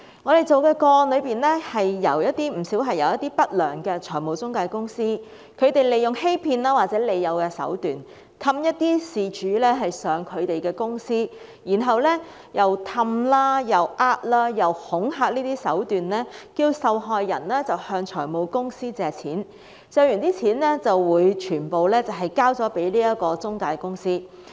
我們跟進的不少個案，是一些不良的財務中介公司利用欺騙或利誘的手段，哄騙事主前往他們的公司，再以哄騙、恐嚇的手段，要求受害人向財務公司借貸，借得的金額會全數交給中介公司。